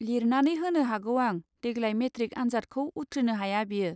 लिरनानै होनो हागौ आं देग्लाय मेट्रिक आनजादखौ उथ्रिनो हाया बियो.